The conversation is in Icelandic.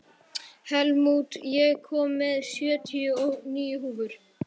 Helmút, ég kom með sjötíu og níu húfur!